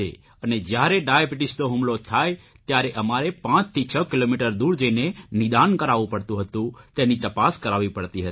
અને જ્યારે ડાયાબીટીસનો હુમલો થાય ત્યારે અમારે પાંચથી છ કિલોમીટર દૂર જઇને નિદાન કરાવવું પડતું હતું તેની તપાસ કરાવવી પડતી હતી